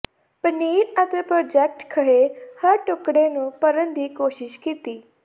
ਪਨੀਰ ਅਤੇ ਪ੍ਰੋਜਕਟ ਖਹਿ ਹਰ ਟੁਕੜੇ ਨੂੰ ਭਰਨ ਦੀ ਕੋਸ਼ਿਸ਼ ਕੀਤੀ